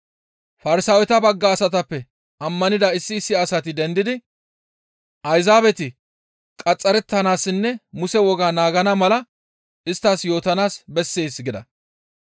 Farsaaweta bagga asatappe ammanida issi issi asati dendidi, «Ayzaabeti qaxxarettanaassinne Muse wogaa naagana mala isttas yootanaas bessees» gida.